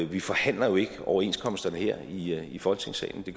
vi forhandler jo ikke overenskomsterne her i her i folketingssalen det